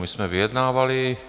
My jsme vyjednávali.